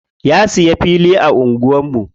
Ya siya fili a anguwar mu.